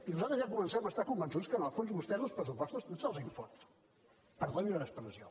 nosaltres ja comencem a estar convençuts que en el fons a vostès els pressupostos tant se’ls en foten perdoni l’expressió